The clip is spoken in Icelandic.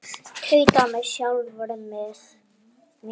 Tauta með sjálfri mér.